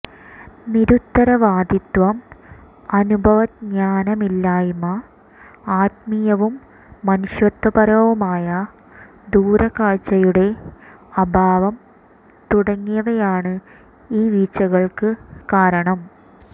നിരുത്തരവാദിത്വം അനുഭവജ്ഞാനമില്ലായ്മ ആത്മീയവും മനുഷ്യത്വപരവുമായ ദൂരക്കാഴ്ചയുടെ അഭാവം തുടങ്ങിയവയാണ് ഈ വീഴ്ചകള്ക്ക് കാരണം